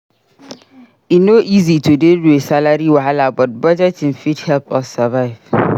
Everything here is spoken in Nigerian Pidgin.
E no easy to deal with salary wahala but budgeting fit help us survive.